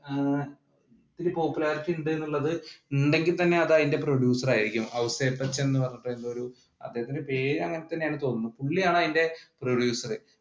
ഏർ ഇത്തിരി popularity ഉണ്ട് എന്നുള്ളത് ഉണ്ടെങ്കിൽ തന്നെ അത് അതിന്റെ producer ആയിരിക്കും ഔസേപ്പച്ചൻ എന്ന് പറഞ്ഞിട്ടുള്ളൊരു അതിന്റെ പേര് അങ്ങനെ തന്നെയാണെന്ന് തോന്നുന്നു പുള്ളിയാണ് അതിന്റെ producer